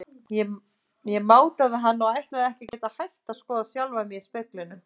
Ég mátaði hann og ætlaði ekki að geta hætt að skoða sjálfa mig í speglinum.